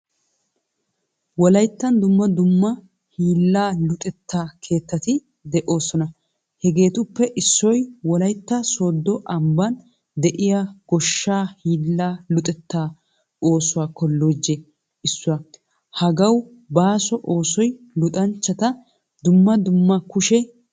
Wolayttan dumma dumma hiilla luxetta keettatti de'osona. Hagetuppe issoy wolytta sodo amban de'iya goshshaa hiilla luxetta oosuwaa kolojjee issuwaa. Hagawu baaso oosoy luxanchchata dumma dumma kushshe hiillata luxxissiyoga.